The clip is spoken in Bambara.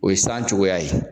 O ye san cogoya ye.